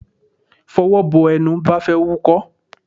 Fọwọ́ bo ẹnu bí ó bá fẹ́ wúkọ́!